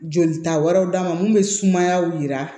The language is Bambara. Jolita wɛrɛw d'a ma mun bɛ sumaya yira